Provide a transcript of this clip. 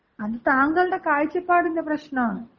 അത് താങ്കളുടെ കാഴ്ചപ്പാടിന്‍റെ പ്രശ്നാണ്.